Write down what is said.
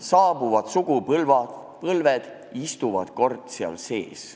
Saabuvad sugupõlved istuvad kord seal sees.